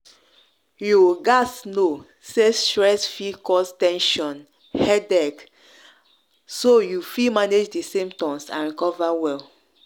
you gaz know say stress fi cause ten sion headache so you fit manage di symptoms and recover well.